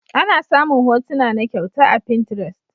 Ana samun hotuna na kyauta a pinterest.